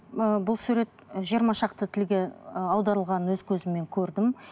ііі бұл сурет жиырма шақты тілге ііі аударылғанын өз көзіммен көрдім